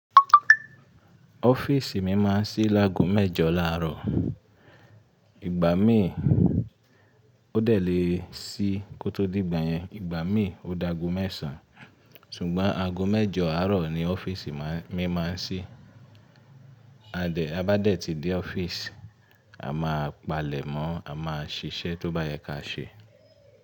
Ọ́fíìsì mi máa ń sí lágo mẹ́jọ láàárọ̀. Ìgbà mí ò dẹ̀ lé sí kó tó dìgbà yẹn, ìgbà mí ò dáago mẹ́sàn-án. Sùgbọ́n ago mẹ́jọ àárọ̀ ni ọ́fíìsì mi máa ń ṣí. A bá dẹ̀ ti dé ọ́fíìsì, a máa palẹ̀ mó, a máa ṣiṣẹ́ tó bá yẹ ká ṣe.